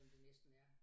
Som det næsten er